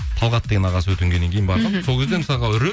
талғат деген ағасы өтінгеннен кейін сол кезде мысалға